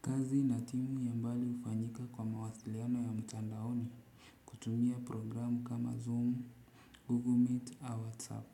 Kazi na timu ya mbali hufanyika kwa mawasiliano ya mtandaoni. Kutumia programu kama zoom, google meet, au whatsapp.